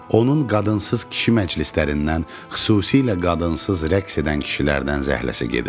Onun qadınsız kişi məclislərindən, xüsusilə qadınsız rəqs edən kişilərdən zəhləsi gedirdi.